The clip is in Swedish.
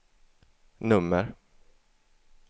nummer